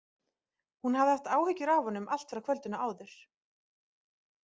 Hún hafði haft áhyggjur af honum allt frá kvöldinu áður.